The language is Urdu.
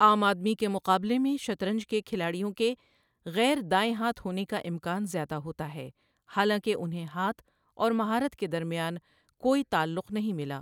عام آبادی کے مقابلے میں، شطرنج کے کھلاڑیوں کے غیر دائیں ہاتھ ہونے کا امکان زیادہ ہوتا ہے، حالانکہ انہیں ہاتھ اور مہارت کے درمیان کوئی تعلق نہیں ملا۔